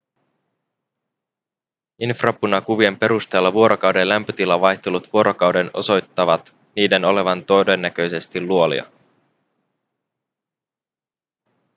infrapunakuvien perusteella vuorokauden lämpötilavaihtelut vuorokauden osoittavat niiden olevan todennäköisesti luolia